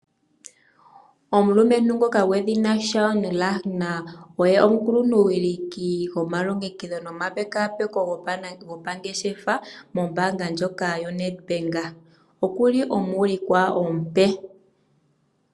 Omulumentu ngoka gwedhina Shaun Lagner oye omukuluntu wiliki gomalongekidho nomapekaapeko gopangeshefa mombaanga ndjoka yo standard bank okuli woo okuli omuulikwa omupe.